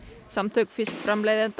samtök fiskframleiðenda